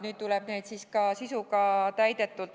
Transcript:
Nüüd tuleb hoida need ka sisuga täidetuna.